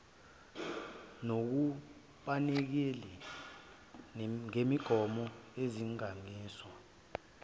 nokubonakalile ngemigomo yezilinganiso